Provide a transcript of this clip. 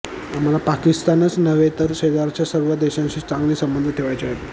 आम्हाला पाकिस्तानच नव्हे तर शेजारच्या सर्व देशांशी चांगले संबंध ठेवायचे आहेत